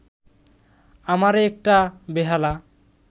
আমারে একটা বেহালা